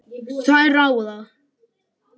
Þær ráða.